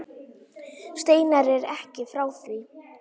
Steinar er ekki frá því.